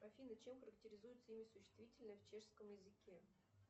афина чем характеризуется имя существительное в чешском языке